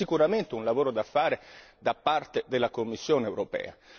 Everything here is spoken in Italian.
C'è sicuramente un lavoro da fare da parte della Commissione europea.